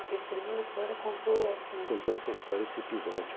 Ele escreveu a história, contou essa... Contou essa história, esse episódio.